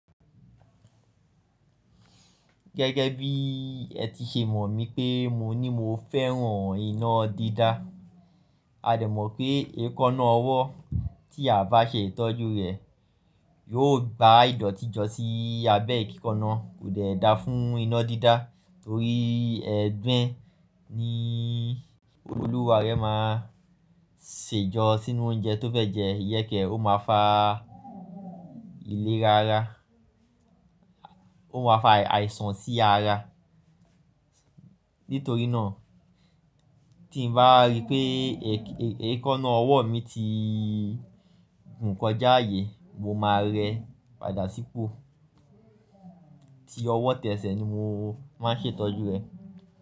Gẹ́gẹ́ bí ẹ ti ṣe mọ̀ mí pé mo ní mo fẹ́ràn iná dídá, a dẹ̀ mọ̀ pé èékánná ọwọ́ tí a bá ṣe ìtọ́jú rẹ̀ yóò gba ìdọ̀tí jọ sí i abẹ́ ìkíkanna kò dẹ̀ da fún iná dídá torí ẹ̀gbin ni olúwa rẹ máa ṣe jọ sínú oúnjẹ tó fẹ́ jẹ yẹ́ kí ó máa fa ìlera ara, ó máa fa àìsàn sí ara. Nítorí náà tí mo bá rí pé èékánná ọwọ́ mi ti hùn kọjá ààyè mo máa rẹ padà sípò. Ti ọwọ́ tẹ́ẹ̀sẹ̀ ni mo máa ń ṣe ìtọ́jú rẹ.